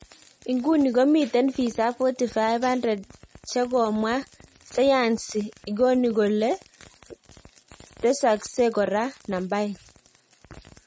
Ikuni komiten visa 4500 cheng komwa sayansi, igoni kolee tesaskech kora nambait.